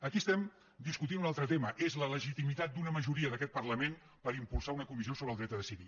aquí estem discutint un altre tema és la legitimitat d’una majoria d’aquest parlament per impulsar una comissió sobre el dret a decidir